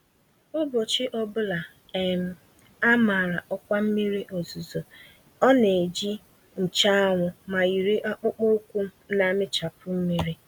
Ụbọchị ọbula um a màrà ọkwa mmiri ozuzo ọ neji nche anwụ, ma yiri akpụkpọ ụkwụ namịchapụ mmiri.